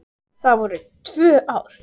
Það var í tvö ár.